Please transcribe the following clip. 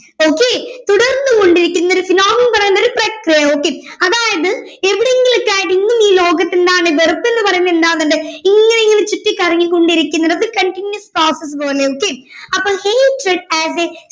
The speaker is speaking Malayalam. okay തുടർന്ന് കൊണ്ടിരിക്കുന്ന ഒരു phenomenon പറയുന്നൊരു പ്രക്രിയ okay അതായത് എവിടെയെങ്കിലൊക്കെ ആയിട്ട് ഇന്നീ ലോകത്ത് ഇണ്ടാവുന്ന വെറുപ്പ് എന്ന് പറയുന്ന ഉണ്ടാവുന്നുണ്ട് ഇങ്ങന ഇങ്ങന ചുറ്റിക്കറങ്ങി കൊണ്ടിരിക്കുന്നുണ്ട് അത് continues process പോലെയൊക്കെ അപ്പൊ hatred are the